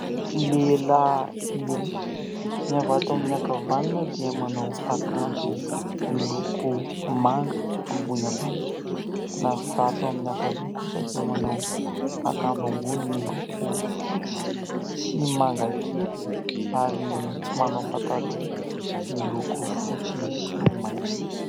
Lehilahy roa : ny avy ato amin'ny ankavanana dia manao akanjo miloko manga ambony ambany, ny avy ato amin'ny ankavia kosa dia manao akanjo ambony miloko fotsy sy manga kely ary manao pataloha miloko fotsy sy maitso.